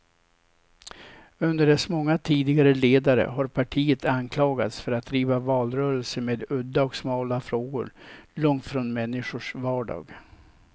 Under dess många tidigare ledare har partiet anklagats för att driva valrörelser med udda och smala frågor, långt från människors vardag.